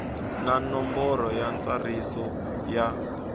na nomboro ya ntsariso ya